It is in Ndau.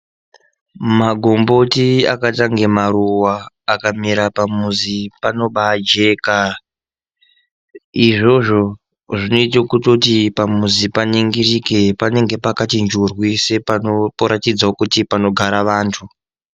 Magomboti akatange maruwa akamera pamuzi panobaa jeka izvozvo zvinoite kutoti pamuzi paningirirke panenge pakati njurwi sepano poratidzawo kuti panogara vantu.